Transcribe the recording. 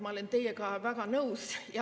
Ma olen teiega väga nõus.